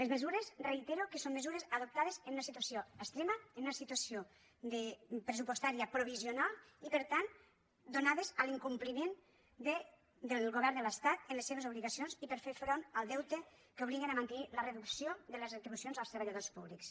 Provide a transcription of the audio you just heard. les mesures ho reitero són mesures adoptades en una situació extrema en una situació pressupostària provisional i per tant donades a l’incompliment del govern de l’estat en les seves obligacions i per fer front al deute que obliga a mantenir la reducció de les retribucions als treballadors públics